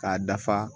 K'a dafa